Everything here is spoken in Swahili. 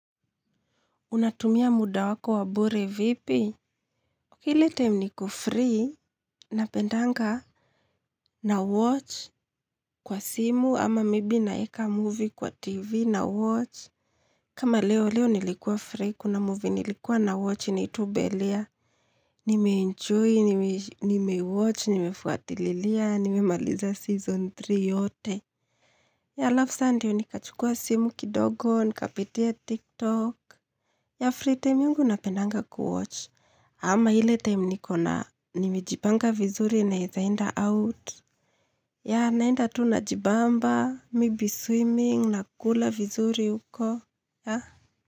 Unatumia muda wako wa bure vipi? Ile time nikobfree, napendanga na watch kwa simu, ama maybe naeka movie kwa tv na watch. Kama leo, leo nilikuwa free, kuna movie nilikua na watch, inaitwa bellaire, nimeenjoy, nimewatch, nimefuatililia, nimemaliza season three yote. Halafu sa ndiyo nikachukua simu kidogo, nikapitia tiktok, yeah free time yangu napendanga kuwatch. Ama ile time nikona, nimejipanga vizuri naeza enda out. Yeah, naenda tu najibamba, maybe swimming, na kula vizuri huko.